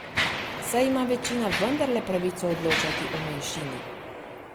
Saj ima večina vendarle pravico odločati o manjšini!